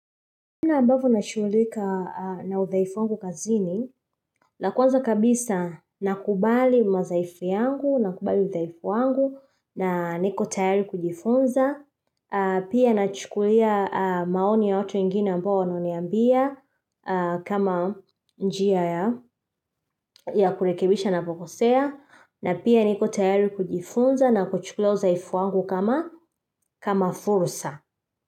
Muda ambapo na shughulika na udhaifu wangu kazini, na kwanza kabisa nakubali madhaifu yangu, nakubali udaifu wangu, na niko tayari kujifunza, pia na chukulia maoni ya watu wengine ambao wananiambia aaaaaaaaa kama njia ya kurekebisha napokosea, na pia niko tayari kujifunza na kuchukulia udhaifu wangu kama fursa.